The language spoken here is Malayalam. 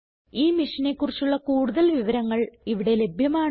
ഈ മിഷനെ കുറിച്ചുള്ള കുടുതൽ വിവരങ്ങൾ ഇവിടെ ലഭ്യമാണ്